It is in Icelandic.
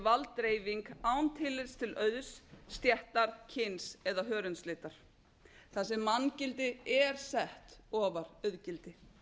valddreifing án tillits til auðs stéttar kyns eða hörundslitar þar sem manngildi er sett ofar auðgildi